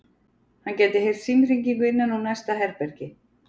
Hann gæti heyrt símhringingu innan úr næsta herbergi.